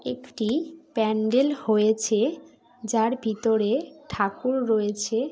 একটি প্যান্ডেল হয়েছে যার ভিতরে ঠাকুর রয়েছে।